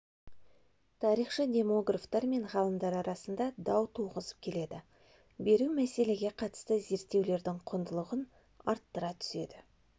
тарихшы-демографтар мен ғалымдар арасында дау туғызып келеді беру мәселеге қатысты зерттеулердің құндылығын арттыра түседі